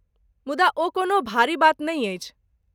मुदा ओ कोनो भारी बात नहि अछि।